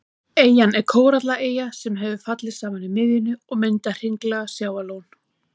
Eyjan er kórallaeyja sem hefur fallið saman í miðjunni og myndað hringlaga sjávarlón.